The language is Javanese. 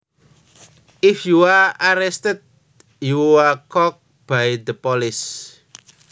If you are arrested you are caught by the police